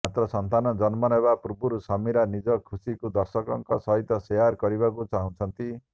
ମାତ୍ର ସନ୍ତାନ ଜନ୍ମ ନେବା ପୂର୍ବରୁ ସମୀରା ନିଜ ଖୁସିକୁ ଦର୍ଶକଙ୍କ ସହିତ ସେୟାର କରବାକୁ ଚାହୁଁଛନ୍ତି